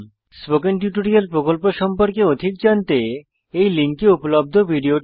spoken tutorial প্রকল্প সম্পর্কে অধিক জানতে এই লিঙ্কে উপলব্ধ ভিডিওটি দেখুন